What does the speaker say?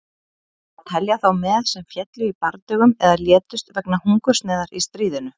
Á að telja þá með sem féllu í bardögum eða létust vegna hungursneyðar í stríðinu?